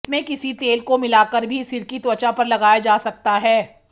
इसमें किसी तेल को मिलाकर भी सिर की त्वचा पर लगाया जा सकता है